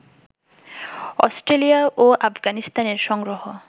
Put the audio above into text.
Australia ও আফগানিস্তানের সংগ্রহ